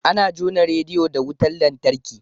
Ana jona rediyo da wutar lantarki.